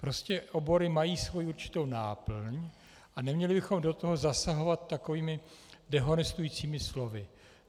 Prostě obory mají svou určitou náplň a neměli bychom do toho zasahovat takovými dehonestujícími slovy.